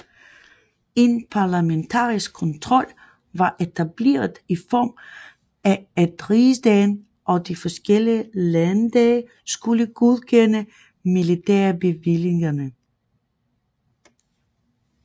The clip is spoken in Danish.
En parlamentarisk kontrol var etableret i form af at rigsdagen og de forskellige landdage skulle godkende militærbevillingerne